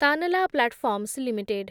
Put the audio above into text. Tanla platforms limited